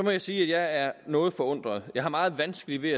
jeg sige at jeg er noget forundret jeg har meget vanskeligt ved